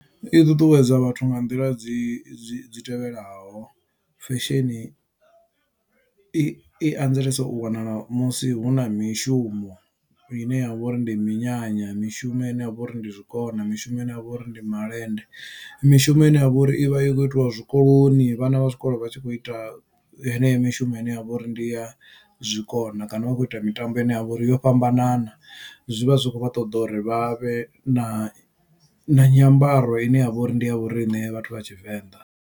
I ṱuṱuwedza vhathu nga nḓila dzi tevhelaho fesheni, i anzelesa u wanala musi hu na mishumo ine yavha uri ndi minyanya mishumo ine ya vha uri ndi zwikona mishumo ine ya vha uri ndi malende mishumo ine ya vha uri i vha yo itiwa zwikoloni vhana vha zwikolo vha tshi kho ita heneyo mishumo ine ya vha uri ndi ya zwikona kana vha khou ita mitambo ine ya vha uri yo fhambanana. Zwivha zwi kho vha ṱoḓa uri vha vhe na na nyambaro ine ya vha uri ndi ya vhoriṋe vhathu vha tshivenḓa.